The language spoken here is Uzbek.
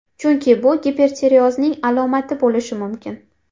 Chunki bu gipertireozning alomati bo‘lishi mumkin.